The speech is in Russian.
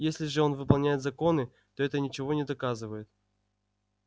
если же он выполняет законы то это ничего не доказывает